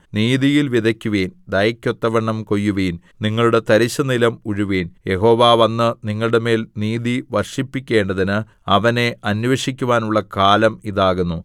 നീതിയിൽ വിതയ്ക്കുവിൻ ദയക്കൊത്തവണ്ണം കൊയ്യുവിൻ നിങ്ങളുടെ തരിശുനിലം ഉഴുവിൻ യഹോവ വന്ന് നിങ്ങളുടെമേൽ നീതി വർഷിപ്പിക്കേണ്ടതിന് അവനെ അന്വേഷിക്കുവാനുള്ള കാലം ഇതാകുന്നു